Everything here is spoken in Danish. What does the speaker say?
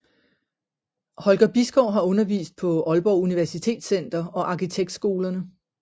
Holger Bisgaard har undervist på Aalborg Universitetscenter og arkitektskolerne